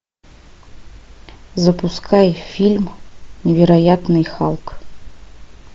запускай фильм невероятный халк